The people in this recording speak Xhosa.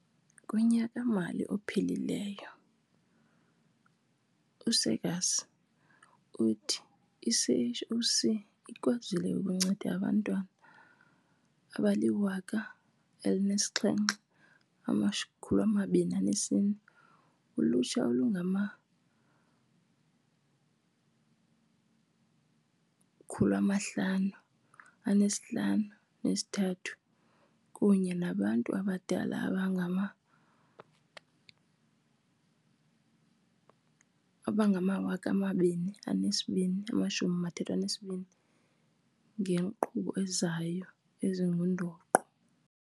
Kunyaka-mali ophelileyo, u-Seegers uthi i-CHOC ikwazile ukunceda abantwana abali-1 724, ulutsha olungama-553 kunye nabantu abadala abangama-2 232 ngeenkqubo zayo ezingundoqo.